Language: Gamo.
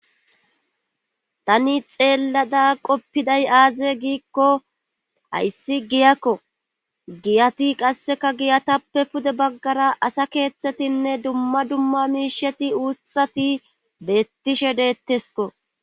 tani xeellada qoppiday aaze giikko hayssi giyakko giyati qasseka giyatappe pude baggara asa keeththetinne dumma dumma miisheti uuthati beettishe deettesko